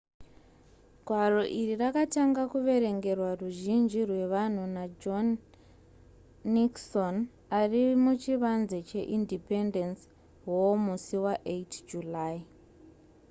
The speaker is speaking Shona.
gwaro iri rakatanga kuverengerwa ruzhinji rwevanhu najohn nixon ari muchivanze cheindependence hall musi wa8 july